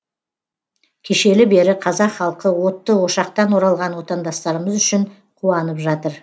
кешелі бері қазақ халқы отты ошақтан оралған отандастарымыз үшін қуанып жатыр